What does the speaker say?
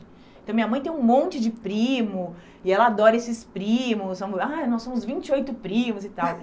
Então minha mãe tem um monte de primo, e ela adora esses primos, nós somos ah nós somos vinte e oito primos e tal.